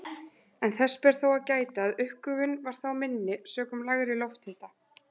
En þess ber þó að gæta að uppgufun var þá minni sökum lægri lofthita.